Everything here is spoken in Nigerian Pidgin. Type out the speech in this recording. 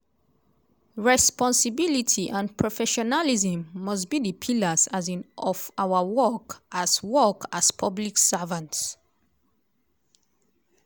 "responsibility and professionalism must be di pillars um of our work as work as public servants."